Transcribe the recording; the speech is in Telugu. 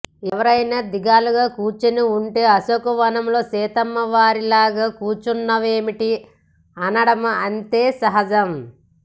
ఎవరైనా దిగాలుగా కూర్చుని ఉంటే అశోకవనంలో సీతమ్మ వారిలాగా కూర్చున్నావేమిటి అనడమూ అంతే సహజం